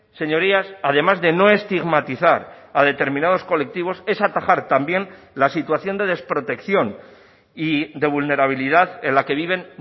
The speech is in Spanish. señorías además de no estigmatizar a determinados colectivos es atajar también la situación de desprotección y de vulnerabilidad en la que viven